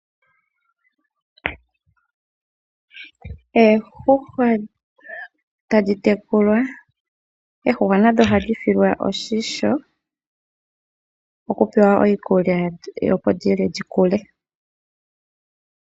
Oondjuhwa tadhi tekulwa. Oondjuhwa nadho ohadhi silwa oshimpwiyu okupewa iikulya opo dhi lye dhi koke.